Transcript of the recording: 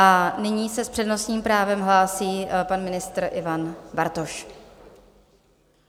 A nyní se s přednostním právem hlásí pan ministr Ivan Bartoš.